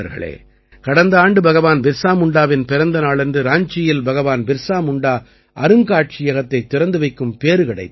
கடந்த ஆண்டு பகவான் பிர்ஸா முண்டாவின் பிறந்த நாளன்று ராஞ்சியில் பகவான் பிர்ஸா முண்டா அருங்காட்சியகத்தைத் திறந்து வைக்கும் பேறு கிடைத்தது